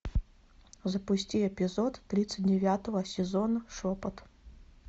запусти эпизод тридцать девятого сезона шепот